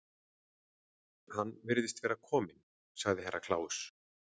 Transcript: Hann virðist vera kominn, sagði Herra Kláus.